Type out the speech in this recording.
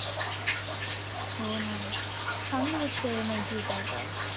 हो ना चांगली गोष्ट आहे माहिती तर.